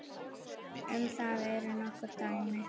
Um það eru nokkur dæmi.